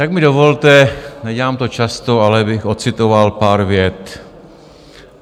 Tak mi dovolte, nedělám to často, ale abych odcitoval pár vět.